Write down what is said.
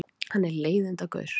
Hann er leiðindagaur.